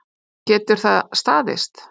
Getur það staðist?